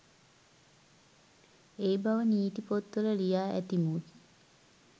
ඒ බව නීති පොත්වල ලියා ඇති මුත්